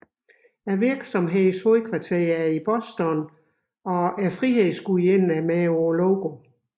Virksomhedens hovedkvarter er i Boston og Frihedsgudinden er med på logoet